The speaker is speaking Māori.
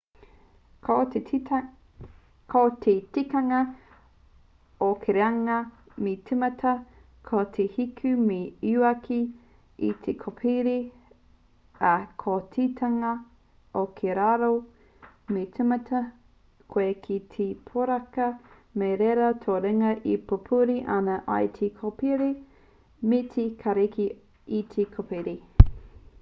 ko te tikanga o ki runga me tīmata koe ki te hiku me te uaki i te kōpere ā ko te tikanga o ki raro me tīmata koe ki te poraka kei reira tō ringa e pupuri ana i te kōpere me te tākiri i te kōpere